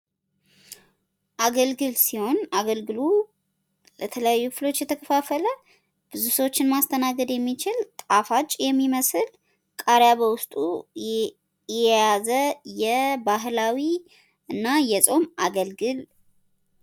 አገልግል ሲሆን አገልግሉ በተለያዩ ክፍሎች የተከፋፈለ ብዙ ሰዎችን ማስተናገድ የሚችል ጣፋጭ የሚመስል። ቃርያ በውስጡ የያዘ የባህሌላዊና የፆም አገልግል ነው።